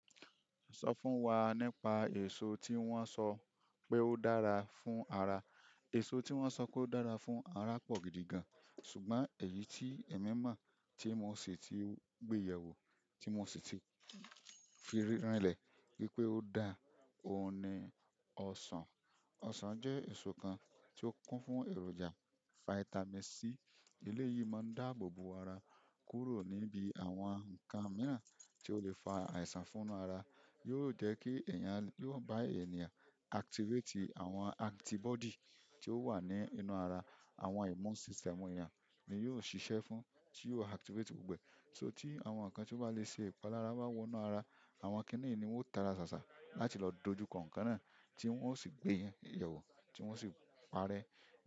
Sọ fún wa nípa èso tí wọ́n sọ pé ó dára fún ara. Èso tí wọ́n sọ pé ó dára fún ara pọ̀ gidi gan. Ṣùgbọ́n èyí tí èmi mọ̀ tí mo ṣì ti gbé yẹ̀wò, tí mo ṣì ti fi rinlẹ̀ wípé ó dáa, òun ni ọsàn. Ọsàn jẹ́ èso kan tí ó kún fún èròjà, vitamin C. Ele yìí máa ń dáàbò bo ara kúrò níbi àwọn nǹkan mìíràn tí ó le fa àìsàn fún inú ara. Yóò jẹ́ kí ẹ̀yàn, yóò bá ènìyàn activate àwọn antibody tí ó wà ní inú ara. Àwọn immune system ènìyàn ni yóò ṣiṣẹ́ fún, tí yóò activate gbogbo. So tí àwọn nǹkan tí ó bá le ṣe ìpalára bá wọ inú ara, àwọn kiní yìí ni wón ó tara sàsá láti lọ dojú kọ̀ nkan náà tí wọ́n ó sì gbé iyẹ̀wò tí wọ́n ó sì parẹ́.